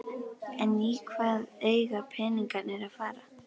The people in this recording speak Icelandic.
En í hvað eiga peningarnir að fara?